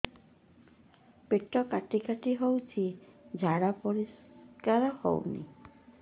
ପେଟ କାଟି କାଟି ହଉଚି ଝାଡା ପରିସ୍କାର ହଉନି